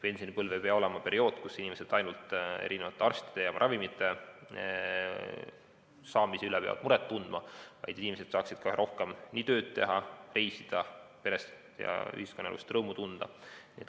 Pensionipõlv ei pea olema periood, kui inimesed ainult arsti juurde pääsemise ja ravimite saamise üle peavad muret tundma, vaid nad peaksid saama rohkem tööd teha, reisida ning perest ja ühiskonnaelust rõõmu tunda.